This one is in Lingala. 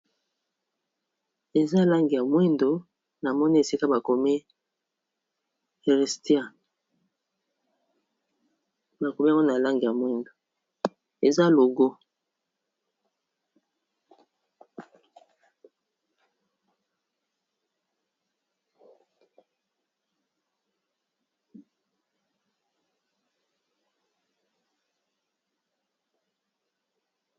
Eza logo ya Christian louboutin ya ba langi ya mwindo na pembe